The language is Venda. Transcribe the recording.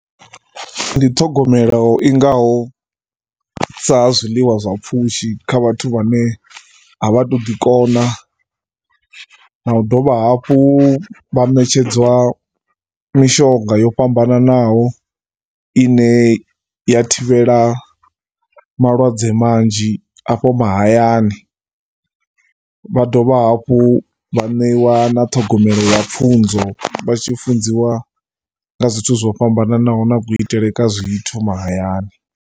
Ndi ṱhogomelo i ngaho sa zwiḽiwa pfhushi kha vhathu vha thu vhane a vha tou ḓi kona na u dovha hafhu vha ṋetshedzwa mishonga yo fhambanaho i ne ya thivhela malwadze manzhi afho mahayani. Vha dovha hafhu vha ṋeiwa na ṱhogomelo ya pfunzo, vha tshi funziwa nga zwithu zwo fhambanaho na kuitele kwa zwithu mahayani.